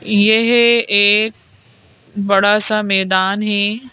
यह एक बड़ा सा मैदान है।